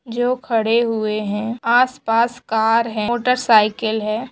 जो खड़े हुए है आसपास कार है मोटर साइकिल है ।